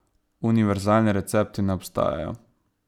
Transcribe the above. Univerzalni recepti ne obstajajo.